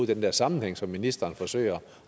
den der sammenhæng som ministeren forsøger